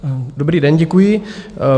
Dobrý den, děkuji.